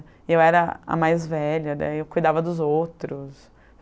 E eu era a mais velha, daí eu cuidava dos outros.